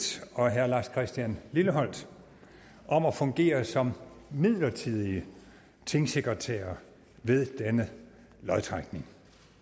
og herre lars christian lilleholt om at fungere som midlertidige tingsekretærer ved denne lodtrækning